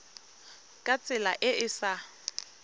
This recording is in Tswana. ka tsela e e sa